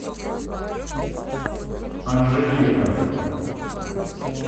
анжелика